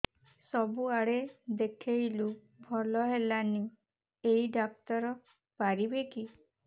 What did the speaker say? ସବୁଆଡେ ଦେଖେଇଲୁ ଭଲ ହେଲାନି ଏଇ ଡ଼ାକ୍ତର ପାରିବେ କି